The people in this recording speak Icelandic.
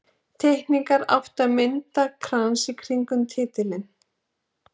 Teikningarnar áttu að mynda krans í kringum titilinn.